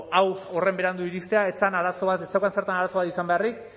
hau horren berandu iristea ez zen arazo bat ez zeukan zertan arazo bat izan beharrik